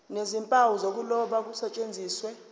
nezimpawu zokuloba kusetshenziswe